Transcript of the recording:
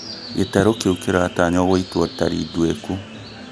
gĩtarũ kĩu kĩratanywo gũĩtwo tari nduĩku